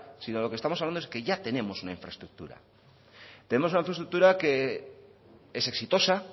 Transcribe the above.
sino de lo que estamos hablando es que ya tenemos una infraestructura tenemos una infraestructura que es exitosa